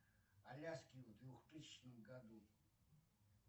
аляски в двухтысячном году